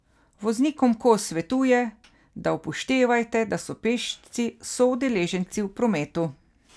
Voznikom Kos svetuje, da upoštevajte, da so pešci soudeleženci v prometu.